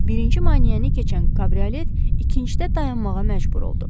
Birinci maneəni keçən kabriolet ikincidə dayanmağa məcbur oldu.